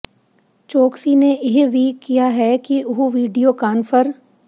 ਚੋਕਸੀ ਨੇ ਇਹ ਵੀ ਕਿਹਾ ਹੈ ਕਿ ਉਹ ਵੀਡੀਓ ਕਾਨਫਰ